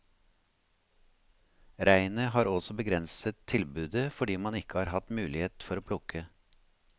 Regnet har også begrenset tilbudet fordi man ikke har hatt mulighet for å plukke.